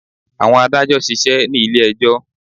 Àwọn adàjọ̀ ṣisẹ́ ní ilé ẹjọ́.